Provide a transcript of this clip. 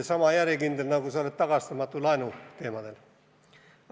Sama järjekindel, nagu sa oled tagastamatu laenu teemadest rääkides!